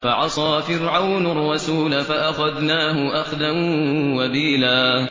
فَعَصَىٰ فِرْعَوْنُ الرَّسُولَ فَأَخَذْنَاهُ أَخْذًا وَبِيلًا